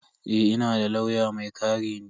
Eh, ina da lauya mai kare ni.